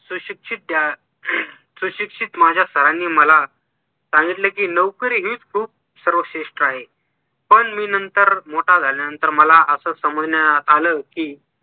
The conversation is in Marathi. सुशिक्षित त्या सुशिक्षित माझ्या सरांनी मला सांगितले कि लवकर हीच खूप सर्वश्रेष्ठ आहे पण मी नंतर मोठा झाल्यानंतर मला असं समजण्यात आली कि